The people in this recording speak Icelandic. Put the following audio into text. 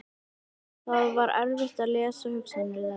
Það var erfitt að lesa hugsanir þeirra.